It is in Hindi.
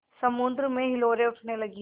समुद्र में हिलोरें उठने लगीं